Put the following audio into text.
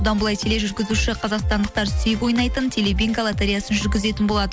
бұдан былай тележүргүзуші қазақстандықтар сүйіп ойнайтын телебинго лотореясын жүргізетін болады